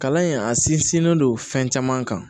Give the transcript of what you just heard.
Kalan in a sinsinnen don fɛn caman kan